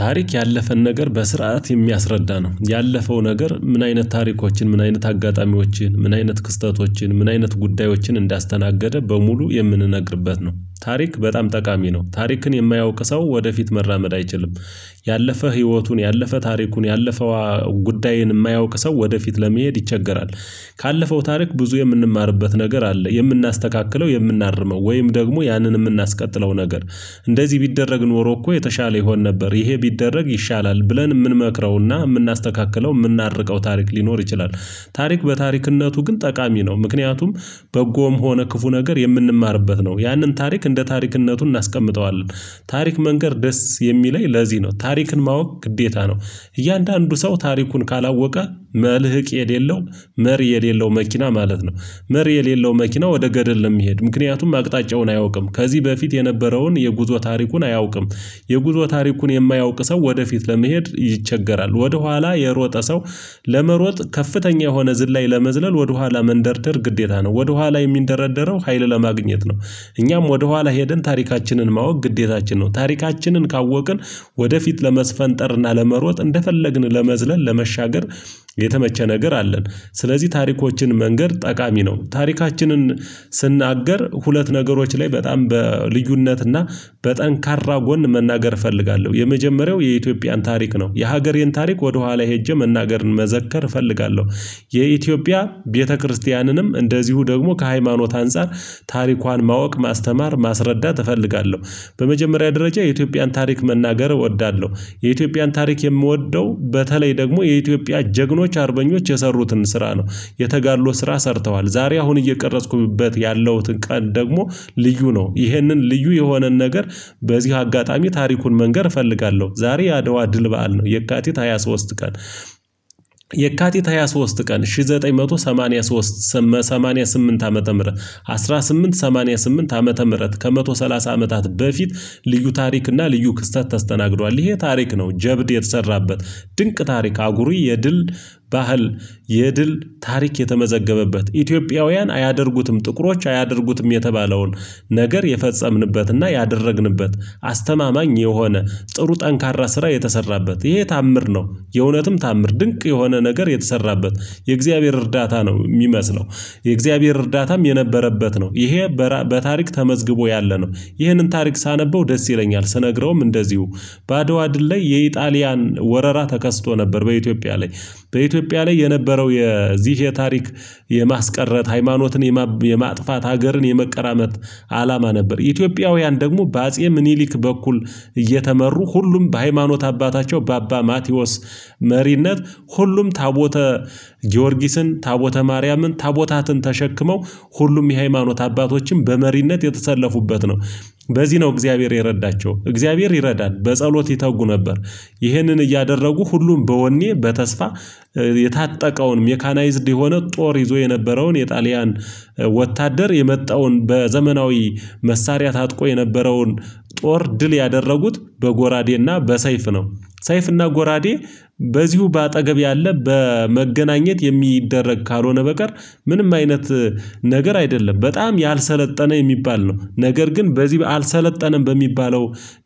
ታሪክ ያለፈን ነገር በስርዓት የሚያስረዳ ነው ያለፈው ነገር ምን አይነት ታሪኮችን ምን አይነት አጋጣሚዎችን ምን አይነት ክስተቶችን ምን አይነት ጉዳዮችን እንዳስተናገደ በሙሉ የምንነግርበት ነው። ታሪክ በጣም ጠቃሚ ነው ታሪክን የማያውቅ ሰው ወደፊት መራመድ አይችልም። ያለፈ ህይወቱን ያለፈ ታሪኩን ያለፈው ጉዳይን እማያውቅ ሰው ወደፊት ለመሄድ ይቸገራል። ካለፈው ታሪክ ብዙ የምንማርበት ነገር አለ የምናስተካክለው የእምናርመው ወይም ደግሞ ያንን እምናስቀጥለው ነገር። እንደዚህ ቢደረግ ኖሮ እኮ የተሻለ ይሆን ነበር ይሄ ቢደረግ ይሻላል ብለን የምንመክረውና የምናስተካክለው የምናርቀው ታሪክ ሊኖር ይችላል። ታሪክ በታሪክነቱ ግን ጠቃሚ ነው ምክንያቱም በጎም ሆነ ክፉ ነገር የምንማርበት ነው ያንን ታሪክ እንደ ታሪክነቱን እናስቀምጠዋለን። ታሪክ መንገር ደስ የሚለኝ ለዚህ ነው ታሪክን ማወቅ ግዴታ ነው። እያንዳንዱ ሰው ታሪኩን ካላወቀ መልህቅ የሌለው መሪ የሌለው መኪና ማለት ነው። መሪ የሌለው መኪና ወደ ገደል ለሚሄድ ምክንያቱም አቅጣጫውን አያውቅም ከዚህ በፊት የነበረውን የጉዞ ታሪኩን አያውቅም። የጉዞ ታሪኩን የማያውቅ ሰው ወደፊት ለመሄድ ይቸገራል ወደኋላ የሮጠ ሰው። ለመሮጥ ከፍተኛ የሆነ ዝላይ ለመዝለል ወደኋላ መንደርደር ግዴታ ነው ወደኋላ የሚንደረደረው ሀይል ለማግኘት ነው። እኛም ወደኋላ ሄደን ታሪካችንን ማወቅ ግዴታችን ነው ታሪካችንን ካወቅን ወደፊት ለመስፈንጠርና ለመሮጥ እንደፈለግን ለመዝለል ለመሻገር የተመቸ ነገር አለን። ስለዚህ ታሪኮችን መንገድ ጠቃሚ ነው። ታሪካችንን ስናገር ሁለት ነገሮች ላይ በጣም በልዩነት እና በጠንካራ ጎን መናገር እፈልጋለሁ የመጀመሪያው የኢትዮጵያን ታሪክ ነው የሀገሬን ታሪክ ወደኋላ ሄጄ መናገርን መዘከር እፈልጋለሁ። የኢትዮጵያ ቤተክርስቲያንም እንደዚሁ ደግሞ ከሃይማኖት አንፃር ታሪኳን ማወቅ ማስተማር ማስረዳት እፈልጋለሁ። በመጀመሪያ ደረጃ የኢትዮጵያን ታሪክ መናገር እወዳለሁ። የኢትዮጵያን ታሪክ የምወደው በተለይ ደግሞ የኢትዮጵያ ጀግኖች አርበኞች የሰሩትን ስራ ነው። የተጋድሎ ስራ ሰርተዋል ዛሬ አሁን እየቀረጽኩበት ያለሁትን ቀን ደግሞ ልዩ ነው ይህንን ልዩ የሆነን ነገር። በዚህ አጋጣሚ ታሪኩን መንገር እፈልጋለሁ ዛሬ የአደዋ ድል በዓል ነው የካቲት ሃያ ሶስት ቀን። የካቲት ሃያ ሶስት ቀን አንድ ሺህ ዘጠኝ መቶ ሰማኒያ ሶስት። ሰማኒያ ስምንት ዓመተ ምህረት አንድ ሺህ ስምንት መቶ ሰማኒያ ስምንት ዓመተ ምህረት ከአንድ መቶ ሰላሳ አመታት በፊት። ልዩ ታሪክ እና ልዩ ክስተት ተስተናግዷል ይሄ ታሪክ ነው ጀብድ የተሰራበት። ድንቅ ታሪክ አኩሪ የድል ባህል የድል ታሪክ የተመዘገበበት ኢትዮጵያውያን አያደርጉትም ጥቁሮች አያደርጉትም የተባለውን ነገር የፈጸምንበትና ያደረግንበት። አስተማማኝ የሆነ ጥሩ ጠንካራ ስራ የተሰራበት ይሄ ታምር ነው። የእውነትም ታምር ድንቅ የሆነ ነገር የተሰራበት የእግዚአብሔር እርዳታ ነው ሚመስለው። የእግዚአብሔር እርዳታም የነበረበት ነው ይሄ። በታሪክ ተመዝግቦ ያለ ነው ይህንን ታሪክ ሳነበው ደስ ይለኛል ስነግረውም እንደዚሁ። በአድዋ ድል ላይ የኢጣሊያን ወረራ ተከስቶ ነበር በኢትዮጵያ ላይ። በኢትዮጵያ ላይ የነበረው የዚህ የታሪክ የማስቀረት ሃይማኖትን የማጥፋት ሀገርን የመቀራመት አላማ ነበር። ኢትዮጵያውያን ደግሞ በአጼ ምኒሊክ በኩል እየተመሩ ሁሉም በሃይማኖት አባታቸው በአባ ማቲዎስ መሪነት ሁሉም ታቦተ ጊዮርጊስን ታቦተ ማርያምን ታቦታትን ተሸክመው ሁሉም የሃይማኖት አባቶችም በመሪነት የተሰለፉበት ነው። በዚህ ነው እግዚአብሔር የረዳቸው እግዚአብሔር ይረዳል በጸሎት ይተጉ ነበር። ይሄንን እያደረጉ ሁሉም በወኔ በተስፋ የታጠቀውን ሜካናይዝድ የሆነ ጦር ይዞ የነበረውን የጣሊያን ወታደር የመጣውን በዘመናዊ መሳሪያ ታጥቆ የነበረውን ጦር ድል ያደረጉት በጎራዴና በሰይፍ ነው። ሰይፍና ጎራዴ በዚሁ በአጠገብ ያለ በመገናኘት የሚደረግ ካልሆነ በቀር። ምንም አይነት ነገር አይደለም በጣም ያልሰለጠነ የሚባል ነው ነገር ግን በዚህ አልሰለጠነም በሚባለው።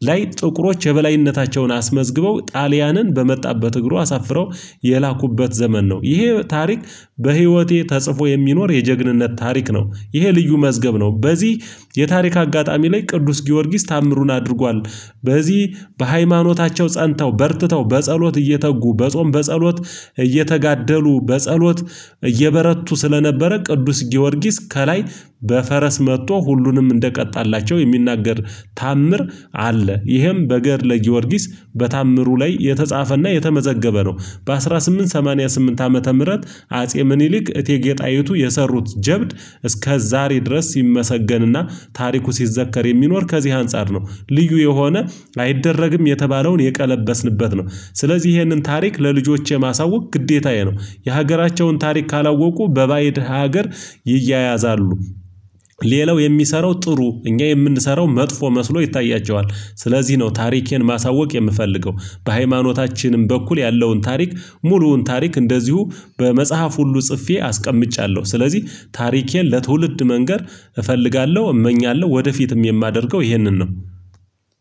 ላይ ጥቁሮች የበላይነታቸውን አስመዝግበው ጣሊያንን በመጣበት እግሩ አሳፍረው የላኩበት ዘመን ነው ይሄ ታሪክ። በህይወቴ ተጽፎ የሚኖር የጀግንነት ታሪክ ነው። ይሄ ልዩ መዝገብ ነው። በዚህ የታሪክ አጋጣሚ ላይ ቅዱስ ጊዮርጊስ ታምሩን አድርጓል። በዚህ በሃይማኖታቸው ፀንተው በርትተው በጸሎት እየተጉ በጾም በጸሎት እየተጋደሉ በጸሎት እየበረቱ ስለነበረ ቅዱስ ጊዮርጊስ ከላይ በፈረስ መጥቶ ሁሉንም እንደቀጣላቸው የሚናገር ታምር አለ። ይህም በገድለ ጊዮርጊስ በተአምሩ ላይ የተጻፈና የተመዘገበ ነው። በአንድ ሺህ ስምንት መቶ ሰማኒያ ስምንት ዓመተ ምህረት አጼ ምኒሊክ እቴጌ ጣይቱ የሰሩት ጀብድ። እስከ ዛሬ ድረስ ሲመሰገንና ታሪኩ ሲዘከር የሚኖር ከዚህ አንፃር ነው። ልዩ የሆነ አይደረግም የተባለውን የቀለበስንበት ነው። ስለዚህ ይሄንን ታሪክ ለልጆቼ ማሳወቅ ግዴታዬ ነው የሀገራቸውን ታሪክ ካላወቁ በባእድ ሀገር ይያያዛሉ። ሌላው የሚሰራው ጥሩ እኛ የምንሰራው መጥፎ መስሎ ይታያቸዋል። ስለዚህ ነው ታሪኬን ማሳወቅ የምፈልገው። በሃይማኖታችንም በኩል ያለውን ታሪክ ሙሉውን ታሪክ እንደዚሁ በመጽሐፍ ሁሉ ጽፌ አስቀምጫለሁ ስለዚህ። ታሪኬን ለትውልድ መንገር እፈልጋለሁ እመኛለሁ ወደፊትም የማደርገው ይሄንን ነው